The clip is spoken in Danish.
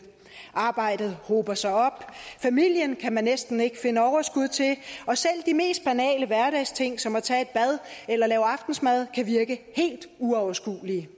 arbejdet hober sig op familien kan man næsten ikke finde overskud til og selv de mest banale hverdagsting som at tage et bad eller lave aftensmad kan virke helt uoverskuelige